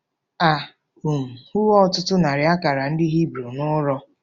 A um hụwo ọtụtụ narị akara ndị Hibru n'ụrọ.